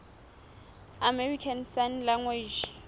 american sign language